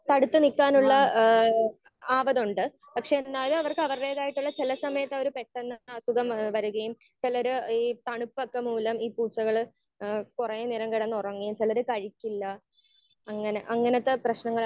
Speaker 1 അടുത്ത് നിക്കാനുള്ള ഏഹ് ആവതുണ്ട്. ഏഹ് പക്ഷെ അവർക്ക് അവരുടേതായിട്ടുള്ള ചില സമയത്ത് അവർ പെട്ടെന്ന് അസുഖം വരുകയും ചിലര് ഈ തണുപ്പൊക്കെ മൂലം ഈ പൂച്ചകൾ ഏഹ് കുറേ നേരം കിടന്നുറങ്ങി. ചിലര് കഴിക്കില്ല അങ്ങനെ അങ്ങനത്തെ പ്രശ്നങ്ങളൊ